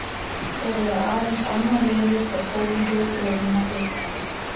Þeir voru aðeins annað liðið frá Kólumbíu til að vinna bikarinn.